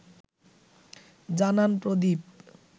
জানান প্রদীপ